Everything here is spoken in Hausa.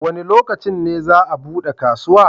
Wa ne lokacin ne za a bude kasuwa?